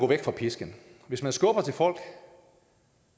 væk fra pisken hvis man skubber til folk